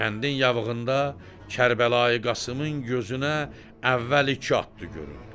Kəndin yavığında Kərbəlayı Qasımın gözünə əvvəl iki atdı göründü.